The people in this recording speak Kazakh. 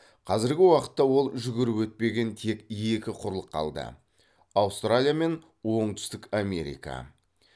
қазіргі уақытта ол жүгіріп өтпеген тек екі құрлық қалды аустралия мен оңтүстік америка